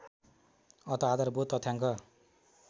अत आधारभूत तथ्याङ्क